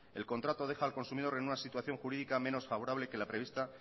el contrato deja al consumidor en una situación jurídica menos favorable que la prevista